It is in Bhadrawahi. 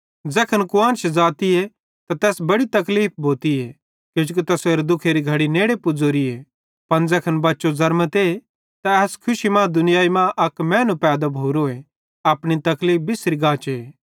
ज़ैखन कुआन्श ज़ातीए त तैस बड़ी तकलीफ़ भोतीए किजोकि तैसेरे दुःखेरी घड़ी नेड़े पुज़ोरीए पन ज़ैखन बच्चो ज़र्मते त एस खुशी मां कि दुनियाई मां अक मैनू पैदा भोरोए अपनी तकलीफ़ बिस्सरी गाचे